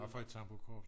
hvad for et tamburkorps?